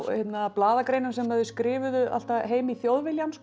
blaðagreinum sem þau skrifuðu alltaf heim í Þjóðviljann